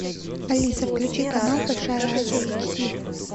алиса включи канал большая азия эйч ди